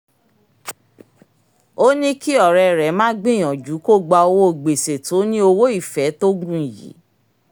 ó ní kí ọ̀rẹ́ rẹ má gbìyànjú kó gbá owó gbèsè tó ní owó-ìfẹ́ tó gùn yìí